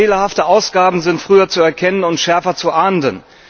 Fehlerhafte Ausgaben sind früher zu erkennen und schärfer zu ahnden.